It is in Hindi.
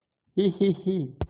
हीहीही